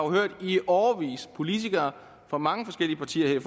i årevis politikere fra mange forskellige partier her i